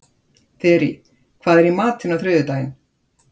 Þyri, hvað er í matinn á þriðjudaginn?